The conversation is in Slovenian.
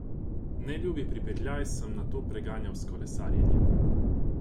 Neljub pripetljaj sem nato preganjal s kolesarjenjem.